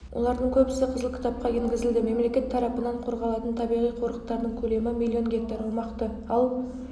олардың көбісі қызыл кітапқа енгізілді мемлекет тарапынан қорғалатын табиғи қорықтардың көлемі млн гектар аумақты ал